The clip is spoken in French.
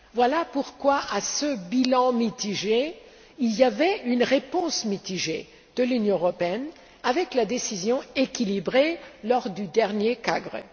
Voilà pourquoi à ce bilan mitigé, il y avait une réponse mitigée de l'Union européenne avec la décision équilibrée prise lors du dernier CAGRE.